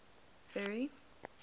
ferry